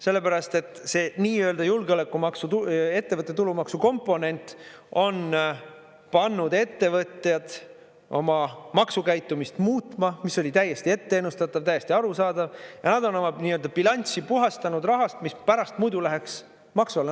Sellepärast, et see nii-öelda julgeolekumaksu ettevõtte tulumaksu komponent on pannud ettevõtjad oma maksukäitumist muutma, mis oli täiesti ette ennustatav, täiesti arusaadav, ja nad on oma bilanssi puhastanud rahast, mis pärast muidu läheks maksu alla.